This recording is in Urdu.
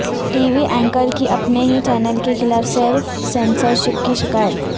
ٹی وی اینکر کی اپنے ہی چینل کے خلاف سیلف سنسر شپ کی شکایت